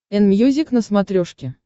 энмьюзик на смотрешке